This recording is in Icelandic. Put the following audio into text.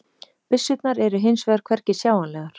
Byssurnar eru hins vegar hvergi sjáanlegar